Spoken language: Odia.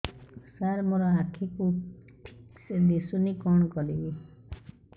ସାର ମୋର ଆଖି କୁ ଠିକସେ ଦିଶୁନି କଣ କରିବି